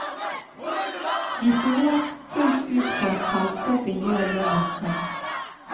Vi stoler fullt ut på at selskapet gjør jobben sin.